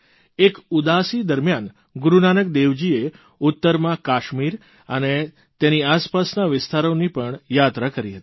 એક ઉદાસી દરમ્યાન ગુરૂનાનક દેવજીએ ઉત્તરમાં કાશ્મીર અને તેની આસપાસના વિસ્તારોની પણ યાત્રા કરી હતી